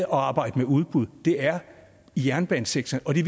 arbejde med udbud er i jernbanesektoren det